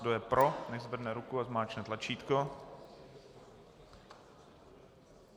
Kdo je pro, nechť zvedne ruku a zmáčkne tlačítko.